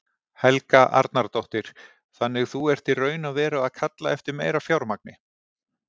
Helga Arnardóttir: Þannig þú ert í raun og veru að kalla eftir meira fjármagni?